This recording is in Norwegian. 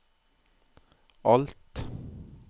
alt